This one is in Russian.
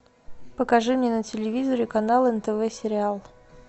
покажи мне на телевизоре канал нтв сериал